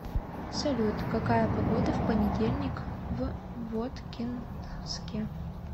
салют какая погода в понедельник в воткинске